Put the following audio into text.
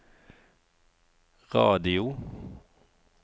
radio